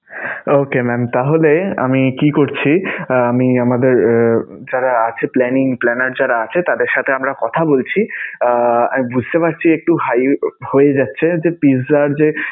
Okay mam! তাহলে আমি কি করছি আমি আমাদের এর যারা আছে planning planner যারা আছে তাদের সাথে আমরা কথা বলছি. আ~ বুঝতে পারছি একটু high হয়ে যাচ্ছে pizza র যে